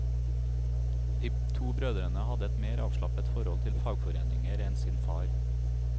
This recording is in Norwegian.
De to brødrene hadde et mer avslappet forhold til fagforeninger enn sin far.